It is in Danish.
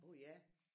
Uh ja